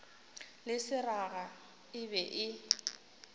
le seraga e be e